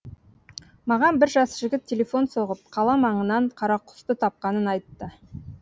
маған бір жас жігіт телефон соғып қала маңынан қарақұсты тапқанын айтты